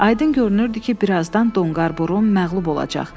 Aydın görünürdü ki, birazdan donqarburun məğlub olacaq.